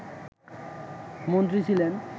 মন্ত্রী ছিলেন